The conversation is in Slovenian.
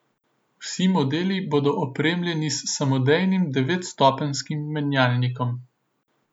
Vsi modeli bodo opremljeni s samodejnim devetstopenjskim menjalnikom.